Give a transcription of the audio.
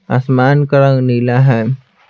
आसमान का रंग नीला है।